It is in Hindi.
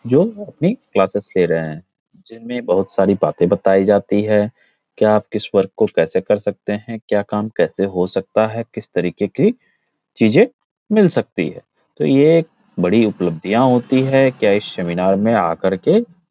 जो अपनी क्लॉसेस ले रहें है जिनमें बहुत सारी बातें बताई जाती है। क्या आप किस वर्क को कैसे कर सकते हैं। क्या काम कैसे हो सकता है। किस तरीक़े की चीज़ें मिल सकती है। तो ये एक बड़ी उपलब्धियाँ होती है के इस सेमिनार मे आ कर के --